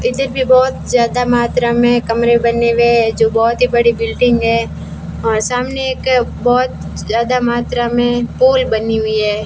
इधर भी बहुत ज्यादा मात्रा में कमरे बने हुए है जो बहुत ही बड़ी बिल्डिंग है और सामने एक बहुत ज्यादा मात्रा में पोल बनी हुई है।